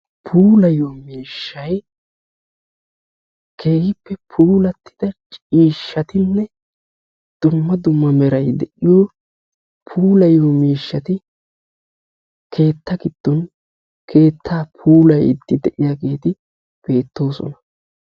puulayiyo miishay keehippe puulattida ciishatinne miishatinne dumma dumma meray de'iyo miishati keettaa puulayiidi beetoosona.